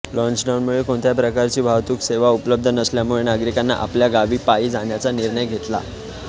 लॉचडाऊनमुळे कोणत्याही प्रकारची वाहतूक सेवा उपलब्ध नसल्यामुळे नागरिकांनी आपल्या गावी पायी जाण्याचा निर्णय घेतला